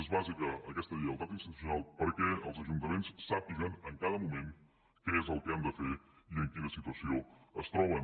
és bàsica aquesta lleialtat institucional perquè els ajuntaments sàpiguen en cada moment què és el que han de fer i en quina situació es troben